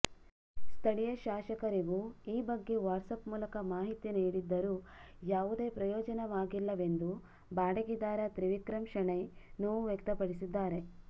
ಸ್ಥಳೀಯ ಶಾಸಕರಿಗೂ ಈ ಬಗ್ಗೆ ವಾಟ್ಸಪ್ ಮೂಲಕ ಮಾಹಿತಿ ನೀಡಿದ್ದರೂ ಯಾವುದೇ ಪ್ರಯೋಜನವಾಗಿಲ್ಲವೆಂದು ಬಾಡಿಗೆದಾರ ತ್ರಿವಿಕ್ರಮ ಶೆಣೈ ನೋವು ವ್ಯಕ್ತಪಡಿಸಿದ್ದಾರೆ